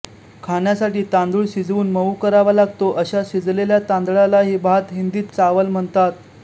खाण्यासाठी तांदूळ शिजवून मऊ करावा लागतो अशा शिजलेल्या तांदळालाही भात हिंदीत चावल म्हणतात